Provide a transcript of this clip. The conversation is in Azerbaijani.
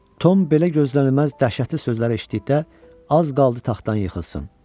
Tom belə gözlənilməz dəhşətli sözləri eşitdikdə az qaldı taxtdan yıxılsın.